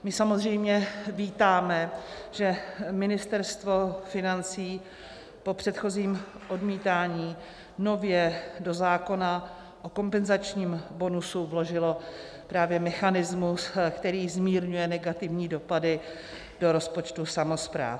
My samozřejmě vítáme, že Ministerstvo financí po předchozím odmítání nově do zákona o kompenzačním bonusu vložilo právě mechanismus, který zmírňuje negativní dopady do rozpočtů samospráv.